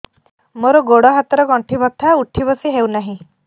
ମୋର ଗୋଡ଼ ହାତ ର ଗଣ୍ଠି ବଥା ଉଠି ବସି ହେଉନାହିଁ